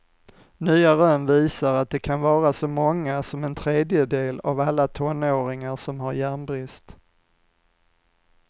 Nya rön visar att det kan vara så många som en tredjedel av alla tonåringar som har järnbrist.